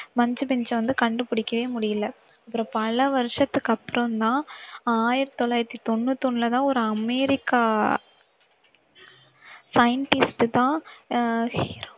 மச்சு பிச்சு அஹ் வந்து கண்டுபிடிக்கவே முடியல அப்புறம் பல வருஷத்துக்கு அப்புறம்தான் ஆயிரத்தி தொள்ளாயிரத்தி தொண்ணூத்தி ஓண்ணுலதான் ஒரு அமெரிக்கா scientist தான் அஹ்